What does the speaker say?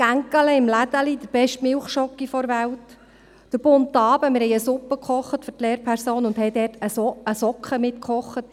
Etwas Kleines im Dorfladen kaufen, die beste Milchschokolade der Welt, der bunte Abend, an dem wir den Lehrpersonen eine Suppe kochten, in der wir eine Socke mitkochten …